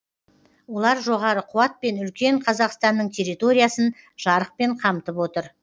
олар жоғары қуатпен үлкен қазақстанның территориясын жарықпен қамтып отыр